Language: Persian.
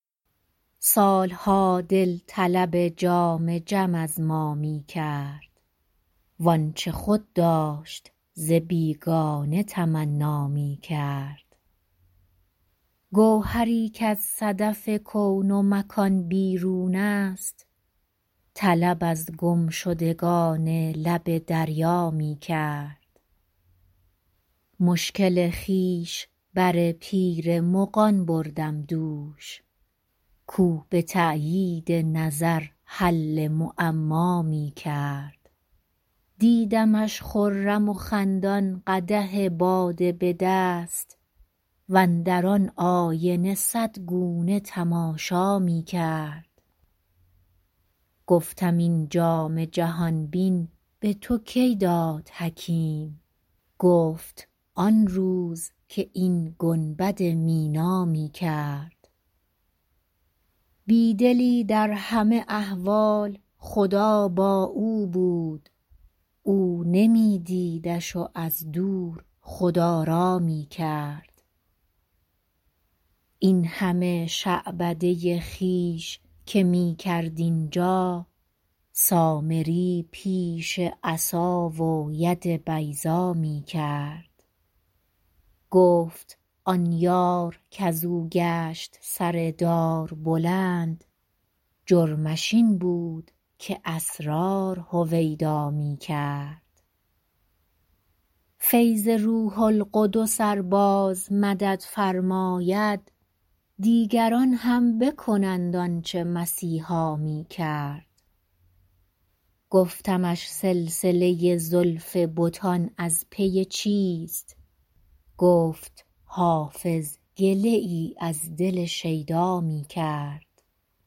سال ها دل طلب جام جم از ما می کرد وآنچه خود داشت ز بیگانه تمنا می کرد گوهری کز صدف کون و مکان بیرون است طلب از گمشدگان لب دریا می کرد مشکل خویش بر پیر مغان بردم دوش کاو به تأیید نظر حل معما می کرد دیدمش خرم و خندان قدح باده به دست واندر آن آینه صد گونه تماشا می کرد گفتم این جام جهان بین به تو کی داد حکیم گفت آن روز که این گنبد مینا می کرد بی دلی در همه احوال خدا با او بود او نمی دیدش و از دور خدارا می کرد این همه شعبده خویش که می کرد اینجا سامری پیش عصا و ید بیضا می کرد گفت آن یار کز او گشت سر دار بلند جرمش این بود که اسرار هویدا می کرد فیض روح القدس ار باز مدد فرماید دیگران هم بکنند آن چه مسیحا می کرد گفتمش سلسله زلف بتان از پی چیست گفت حافظ گله ای از دل شیدا می کرد